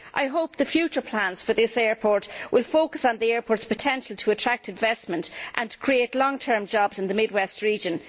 I hope the future plans for this airport will focus on the airport's potential to attract investment and to create long term jobs in the mid west region.